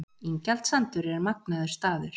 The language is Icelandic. Ingjaldssandur er magnaður staður.